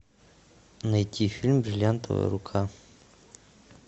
найти фильм бриллиантовая рука